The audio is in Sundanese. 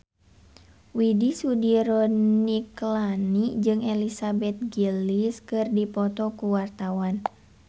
Widy Soediro Nichlany jeung Elizabeth Gillies keur dipoto ku wartawan